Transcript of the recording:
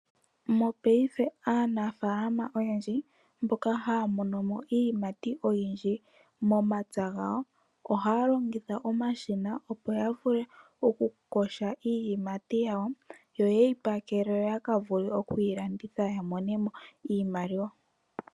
Mopaife aanafaalama oyendji mboka haya mono mo iiyimati oyindji momapya gawo ohaya longitha omashina, opo ya vule okuyoga iiyimati yawo yo ye yi pakele ya vule okulanditha ya mone mo iimaliwa.